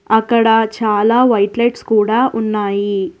అక్కడ చాలా white lights కూడా ఉన్నాయి.